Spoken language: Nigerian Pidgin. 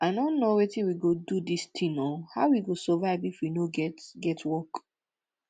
i no know wetin we go do dis thing oo how we go survive if we no get get work